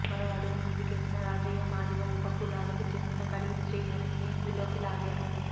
మరో అడుగు ముందుకేసీన రాజయ్య మాదిగ ఉప కులాలకు చెందిన కడియం శ్రీహరిని ఇందులోకి లాగారు